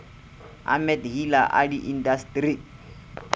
a mat hila a diintasteri